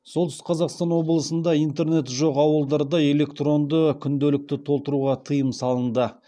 солтүстік қазақстан облысында интернеті жоқ ауылдарда электронды күнделікті толтыруға тыйым салынды